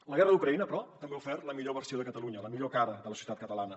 la guerra d’ucraïna però també ha ofert la millor versió de catalunya la millor cara de la societat catalana